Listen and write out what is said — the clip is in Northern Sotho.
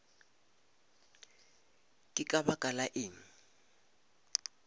ke ka baka la eng